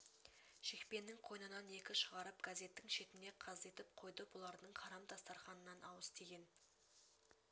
шекпеннің қойнынан екі шығарып газеттің шетіне қаздитып қойды бұлардың харам дастарханынан ауыз тиген